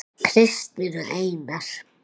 Kristín og Einar.